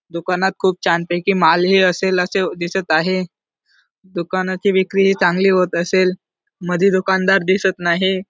दुकानात खूप छान पैकी माल ही असेल अस दिसत आहे दुकानाची विक्री ही चांगली होत असेल मधी दुकानदार दिसत नाही.